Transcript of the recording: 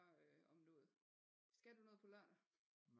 Øh om noget skal du noget på lørdag